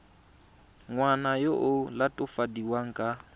ngwana yo o latofadiwang ka